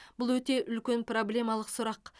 бұл өте үлкен проблемалық сұрақ